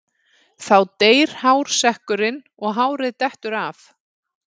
Þá deyr hársekkurinn og hárið dettur af.